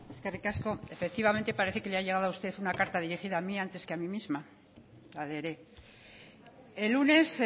eskerrik asko efectivamente parece que le ha llegado a usted una carta dirigida a mí antes que a mí misma la leeré el lunes